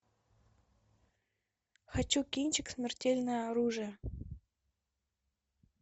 хочу кинчик смертельное оружие